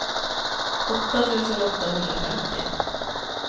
åtta tusen åttahundrafemtio